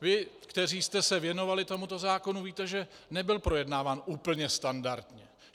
Vy, kteří jste se věnovali tomuto zákonu, víte, že nebyl projednán úplně standardně.